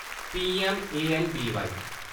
PM. ए.ऐन्न.बी.बाई